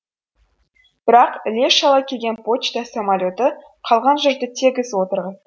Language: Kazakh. бірақ іле шала келген почта самолеті қалған жұртты тегіс отырғызды